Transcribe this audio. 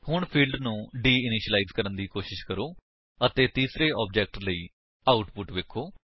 ਹੁਣ ਫਿਲਡਸ ਨੂੰ deinitialize ਕਰਨ ਦੀ ਕੋਸ਼ਿਸ਼ ਕਰੋ ਅਤੇ ਤੀਸਰੇ ਆਬਜੇਕਟ ਲਈ ਆਉਟਪੁਟ ਵੇਖੋ